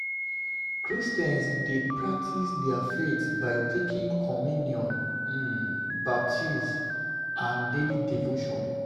Christians dey practice their faith by taking communion, um baptism and daily devotion